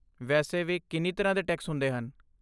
ਵੈਸੇ ਵੀ, ਕਿੰਨੀ ਤਰ੍ਹਾਂ ਦੇ ਟੈਕਸ ਹੁੰਦੇ ਹਨ?